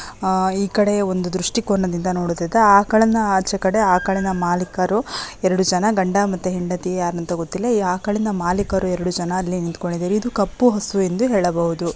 ಆಹ್ಹ್ ಈ ಕಡೆ ಒಂದು ದ್ರಷ್ಟಿಕೋನದಿಂದ ನೋಡುವುದಾದರೆ ಆ ಕಡೆಯಿಂದ ಆಚೆ ಕಡೆ ಆ ಕಡೆಯಿಂದ ಮಾಲೀಕರು ಎರಡು ಜನ ಗಂಡ ಮತ್ತೆ ಹೆಂಡತಿ ಯಾರು ಅಂತ ಗೊತ್ತಿಲ್ಲ ಆ ಕಡೆಯಿಂದ ಮಾಲೀಕರು ಎರಡು ಜನ ಅಲ್ಲಿ ನಿಂತ್ಕೊಂಡಿದ್ದಾರೆ ಇದು ಕಪ್ಪು ಹಸು ಎಂದು ಹೇಳಬಹುದು.